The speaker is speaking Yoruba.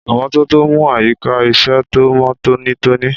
Ìmọ́tótó ń mú àyíká iṣẹ́ tó mọ́ tónítóní.